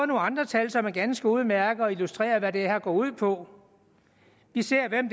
nogle andre tal som er ganske udmærkede og illustrerer hvad det her går ud på vi ser hvem